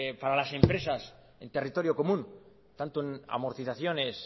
para las empresas en territorio común tanto en amortizaciones